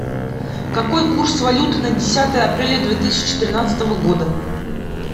какой курс валюты на десятое апреля две тысячи тринадцатого года